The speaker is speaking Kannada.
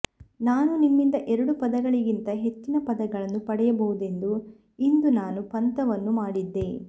ನಾನು ನಿಮ್ಮಿಂದ ಎರಡು ಪದಗಳಿಗಿಂತ ಹೆಚ್ಚಿನ ಪದಗಳನ್ನು ಪಡೆಯಬಹುದೆಂದು ಇಂದು ನಾನು ಪಂತವನ್ನು ಮಾಡಿದೆ